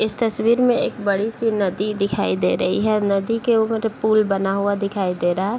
इस तस्वीर में एक बड़ी-सी नदी दिखाई दे रही है नदी के उधर पूल बना हुआ दिखाई दे रहा हैं।